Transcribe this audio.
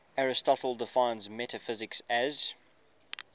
aristotle defines metaphysics as